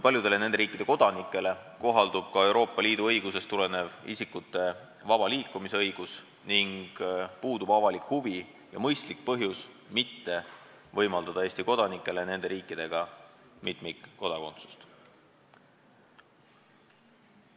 Paljude nende riikide kodanikele kohaldub ka Euroopa Liidu õigusest tulenev isikute vaba liikumise õigus ning puudub avalik huvi ja mõistlik põhjus mitte võimaldada Eesti kodanikele mitmikkodakondsust, kui tegu on nende riikidega.